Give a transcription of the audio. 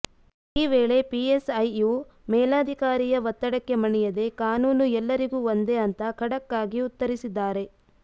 ಈ ವೇಳೆ ಪಿಎಸ್ಐಯು ಮೇಲಾಧಿಕಾರಿಯ ಒತ್ತಡಕ್ಕೆ ಮಣಿಯದೇ ಕಾನೂನು ಎಲ್ಲರಿಗೂ ಒಂದೇ ಅಂತ ಖಡಕ್ ಆಗಿ ಉತ್ತರಿಸಿದ್ದಾರೆ